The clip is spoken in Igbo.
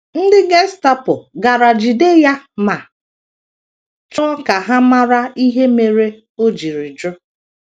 Ndị Gestapo gara jide ya ma chọọ ka ha mara ihe mere o jiri jụ.